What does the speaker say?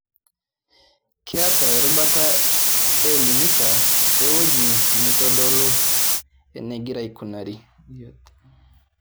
Keeta erubata eElimika eweji neitodolu enigira aikunari.